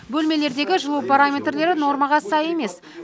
бөлмелердегі жылу параметрлері нормаға сай емес